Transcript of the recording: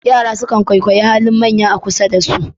Yara sukan kwaikwayi halin manya a kusa da su.